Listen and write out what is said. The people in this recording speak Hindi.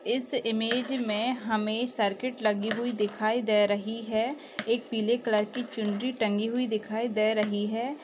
इस इमेज में हमें सर्किट लगी हुई दिखाई दे रही है एक पीले कलर की चुनरी टंगी हुई दिखाई दे रही है।